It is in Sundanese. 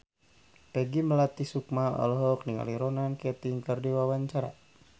Peggy Melati Sukma olohok ningali Ronan Keating keur diwawancara